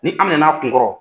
Ni an minɛ na a kun kɔrɔ.